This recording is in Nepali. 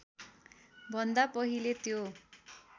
भन्दा पहिले त्यो